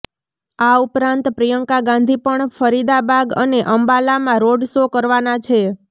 આ ઉપરાંત પ્રિયંકા ગાંધી પણ ફરીદાબાદ અને અંબાલામાં રોડ શો કરવાના છે